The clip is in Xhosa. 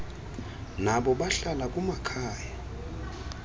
nabo bahlala kumakhaya